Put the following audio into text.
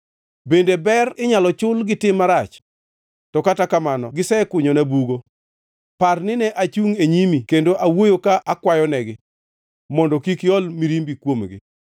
Bende ber inyalo chul gi tim marach? To kata kamano gisekunyona bugo. Par nine achungʼ e nyimi kendo awuoyo ka akwayonegi, mondo kik iol mirimbi kuomgi.